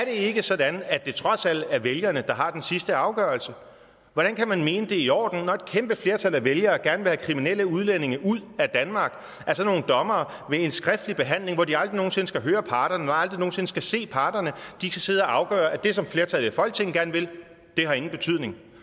ikke sådan at det trods alt er vælgerne der har den sidste afgørelse hvordan kan man mene det er i orden at når et kæmpe flertal af vælgerne gerne vil have kriminelle udlændinge ud af danmark ved en skriftlig behandling hvor de aldrig nogen sinde skal høre parterne og aldrig nogen sinde skal se parterne skal sidde og afgøre at det som flertallet i folketinget gerne vil ingen betydning